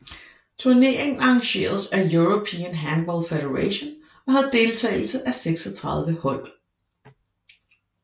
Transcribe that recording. Turneringen arrangeredes af European Handball Federation og havde deltagelse af 36 hold